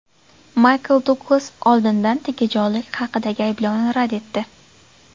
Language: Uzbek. Maykl Duglas oldindan tegajog‘lik haqidagi ayblovni rad etdi.